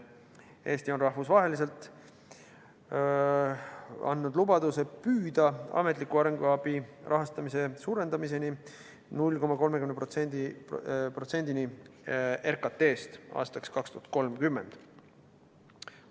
Eesti on rahvusvaheliselt andnud lubaduse püüda ametliku arenguabi rahastamist suurendada 0,30%-ni RKT-st aastaks 2030.